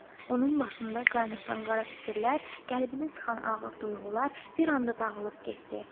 Onun başında qaynayan qara fikirlər, qəlbini sıxan ağrılı duyğular bir anda dağılıb getdi.